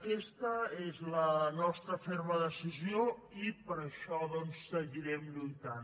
aquesta és la nostra ferma decisió i per això doncs seguirem lluitant